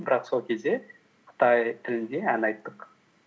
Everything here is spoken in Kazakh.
бірақ сол кезде қытай тілінде ән айттық